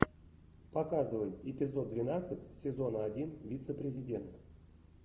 показывай эпизод двенадцать сезона один вице президент